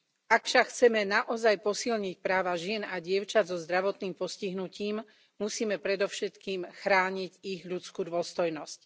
Ak však chceme naozaj posilniť práva žien a dievčat so zdravotným postihnutím, musíme predovšetkým chrániť ich ľudskú dôstojnosť.